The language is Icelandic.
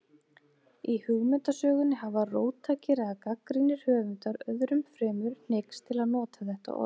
Í hugmyndasögunni hafa róttækir eða gagnrýnir höfundar, öðrum fremur, hneigst til að nota þetta orð.